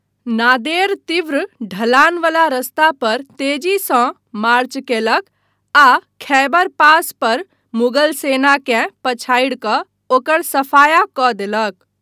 नादेर तीव्र ढलानवला रास्ता पर तेजीसँ मार्च कयलक आ खैबर पास पर मुगल सेनाकेँ पछाडि कऽ ओकर सफाया कऽ देलक।